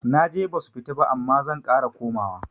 Naje basu fita ba amma zan ƙara komawa